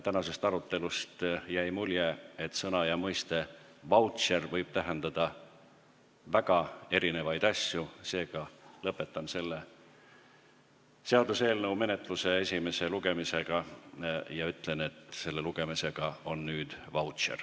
Tänasest arutelust jäi mulje, et sõna "vautšer" võib tähendada väga erinevaid asju, seega lõpetan selle seaduseelnõu menetluse esimese lugemise ja ütlen, et selle lugemisega on nüüd vautšer.